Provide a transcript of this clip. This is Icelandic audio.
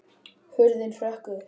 Hurðin hrökk upp!